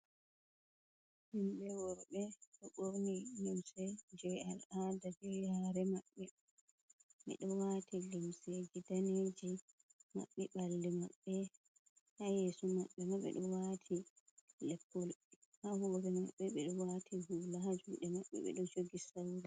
Himɓe worɓe ɓorni lumse je al, ada je yare maɓɓe. Ɓe ɗo wati limseji daneji maɓɓi ɓalli maɓɓe. Ha yesu maɓɓe ma ɓe ɗo wati leppol, ha hore maɓɓe ɓe ɗo wati hula, ha juɗe maɓɓe ɓe ɗo jogi sawru.